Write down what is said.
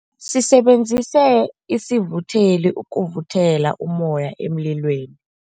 Sisebenzise isivutheli ukuvuthela ummoya emlilweni.